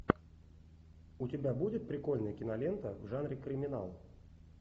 у тебя будет прикольная кинолента в жанре криминал